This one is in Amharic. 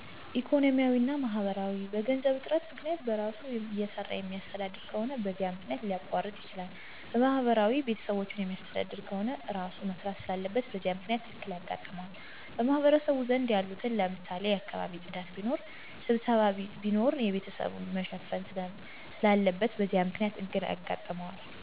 ኢኮኖሚያዊ እና ማህበራዊ፦ በገንዘብ እጥረት ምክንያት፣ በእራሱ እየሰራየማተዳደር ከሆነ በዚህ መክንያት ሊያቋርጥ ይችላል። በማህበራዊ ቤተሰቦቹን ሚያሥተዳድር ከሆነ እራሡ መሥራት ስላለበት በዚህ ምክንያት እክል የጋጥመዋል። በማህበረሰቡ ዘንድ ያሉትን ለምሳሌ የአካባቢ ጽዳት ቢኖር፣ ሥብሠባ ቢኖር የቤተሰቦቹን መሸፈን ስላለበት በዚህ ምክንያት እክል ያጋጥነዋል።